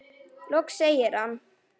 Loks segir hann